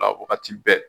A wagati bɛɛ